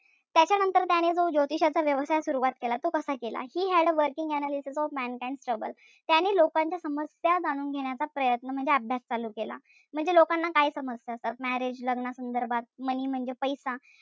त्याच्यानंतर त्याने जो ज्योतिषाचा व्यवसाय सुरवात केला. तो कसा केला? He had a working analysis of mankinds troubles त्याने लोकांच्या समस्या जाणून घेण्याचा प्रयत्न म्हणजे अभ्यास चालू केला. म्हणजे लोकांना काय समस्या असतात? Marriage लग्नासंबंधात, money म्हणजे पैसा.